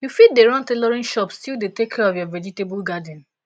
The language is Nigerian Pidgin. you fit dey run tailoring shop still dey take care of your vegetable garden